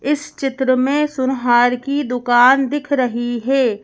इस चित्र में सुनहार की दुकान दिख रही है।